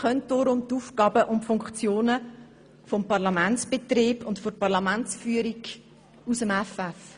Deshalb kennt er die Aufgaben und Funktionen des Parlamentsbetriebs und der Parlamentsführung aus dem Effeff.